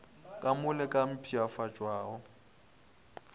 ka mo le ka mpshafatšwago